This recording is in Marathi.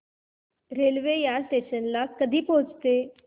रेल्वे या स्टेशन ला कधी पोहचते